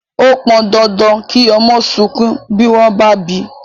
Ó pọn dandan kí ọmọ sunkún bí wón bá bíi